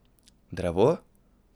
Drevo?